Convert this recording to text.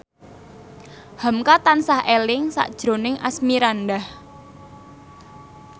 hamka tansah eling sakjroning Asmirandah